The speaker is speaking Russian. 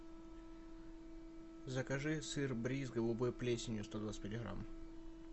закажи сыр бриз с голубой плесенью сто двадцать пять грамм